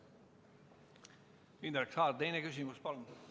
Indrek Saar, teine küsimus, palun!